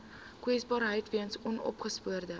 kwesbaarheid weens onopgespoorde